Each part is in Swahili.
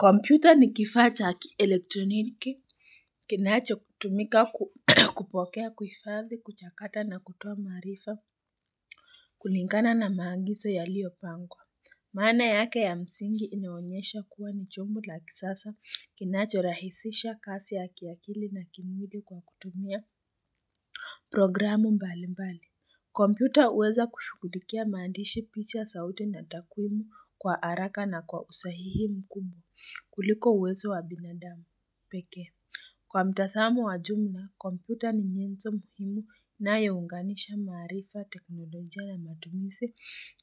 Kompyuta ni kifaa cha ki-elektroniki, kinachokutumika kupokea, kuhifadhi, kuchakata na kutoa maarifa kulingana na maagizo yaliyopangwa. Maana yake ya msingi inaonyesha kuwa ni chombo la kisasa, kinachorahisisha kazi ya kiakili na kimwili kwa kutumia programu mbalimbali. Kompyuta huweza kushughulikia maandishi, picha, sauti na takwimu kwa haraka na kwa usahihi mkubwa kuliko uwezo wa binadamu pekee. Kwa mtazamo wa jumla, kompyuta ni nyenzo muhimu inayounganisha maarifa, teknolojia na matumizi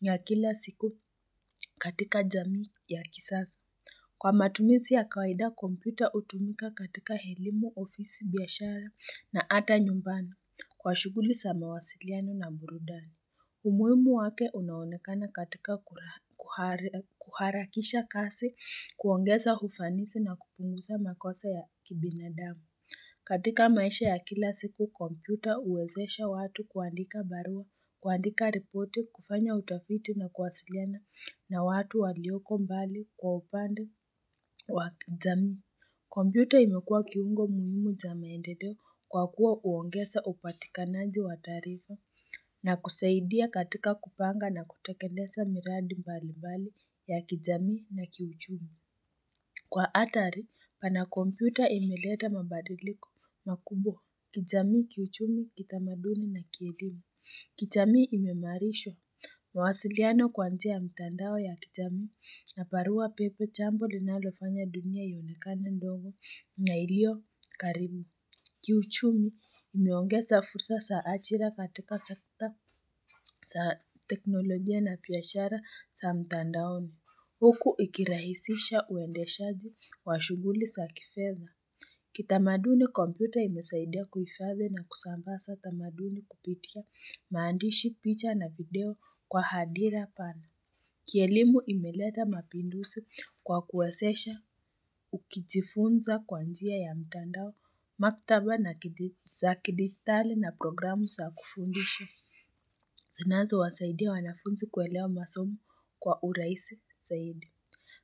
ya kila siku katika jamii ya kisasa. Kwa matumizi ya kawaida, kompyuta hutumika katika elimu, ofisi biashara na hata nyumbani kwa shughuli za mawasiliano na burudani. Umuhimu wake unaonekana katika kuharakisha kasi, kuongeza ufanisi na kupunguza makosa ya kibinadamu. Katika maisha ya kila siku, kompyuta huwezesha watu kuandika barua, kuandika ripoti, kufanya utafiti na kuwasiliana na watu walioko mbali kwa upande wa kijamii. Kompyuta imekuwa kiungo muhimu cha maendeleo kwa kuwa huongeza upatikanaji wa taarifa na kusaidia katika kupanga na kutekeleza miradi mbalimbali ya kijamii na kiuchumi. Kwa hatari pana kompyuta imeleta mabadiliko, makubwa, kijamii, kiuchumi, kitamaduni na kielimu. Kijamii imeimarishwa, mawasiliano kwa njia mtandao ya kijamii na barua pepe, jambo linalofanya dunia ionekane ndogo na ilio karibu. Kiuchumi, imeongeza fursa za ajira katika sekta za teknolojia na pia biashara za mtandaoni. Huku ikirahisisha uendeshaji wa shughuli za kifedha. Kitamaduni, kompyuta imesaidia kuifadhi na kusambaza tamaduni kupitia maandishi, picha na video kwa hadira pana. Kielimu imeleta mapinduzi kwa kuwezesha, ukijifunza kwa njia ya mtandao, maktaba za kidijitali na programu za kufundisha. Zinazowasaidia wanafunzi kuelewa masomo kwa urahisi zaidi.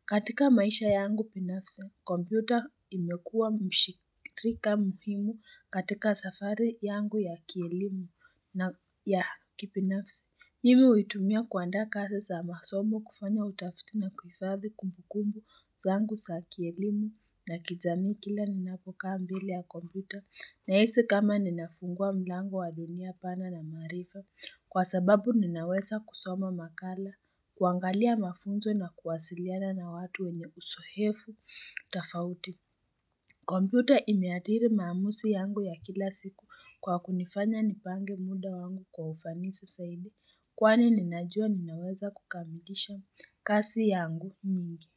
Katika maisha yangu binafsi, kompyuta imekuwa mshirika muhimu katika safari yangu ya kielimu na ya kibinafsi. Mimu huitumia kuandaa kazi za masomo, kufanya utafiti na kuhifadhi kumbukumbu zangu za kielimu na kijamii kila ninapokaa mbele ya kompyuta. Nahisi kama ninafungua mlango wa dunia pana na maarifa, kwa sababu ninaweza kusoma makala, kuangalia mafunzo na kuwasiliana na watu wenye uzoefu tofauti. Kompyuta imeathiri maamuzi yangu ya kila siku kwa kunifanya nipange muda wangu kwa ufanisi zaidi, kwani ninajua ninaweza kukamilisha kazi yangu mingi.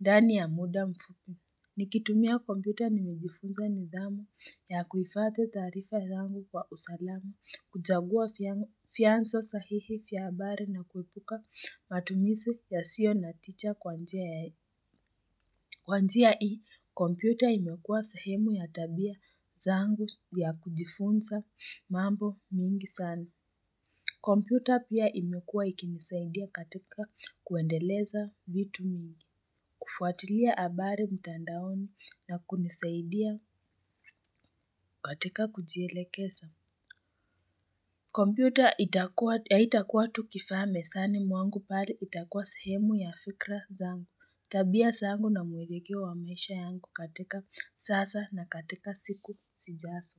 Ndani ya muda mfupi. Nikitumia kompyuta nimejifunga nidhamu ya kuhifadhi taarifa zangu kwa usalama, kuchagua vyanzo sahihi vya habari na kuepuka matumizi yasiyo na tija kwa njia ya Kwa njia hii, kompyuta imekuwa sehemu ya tabia zangu ya kujifunza mambo mingi sana. Kompyuta pia imekuwa ikinisaidia katika kuendeleza vitu mingi, kufuatilia habari mtandaoni na kunisaidia katika kujielekeza. Kompyuta haitakuwa tu kifaa mezani mwangu, bali itakuwa sehemu ya fikra zangu. Tabia sangu na mwelekeo wa maisha yangu katika sasa na katika siku sijazo.